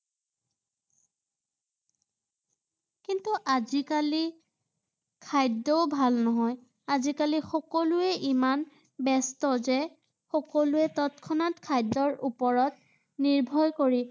কিন্তু আজিকালি খাদ্যও ভাল নহয় ৷ আজিকালি সকলোৱে ইমান ব্যস্ত যে সকলোৱে তৎক্ষণাৎ খাদ্যৰ ওপৰত নিৰ্ভৰ কৰি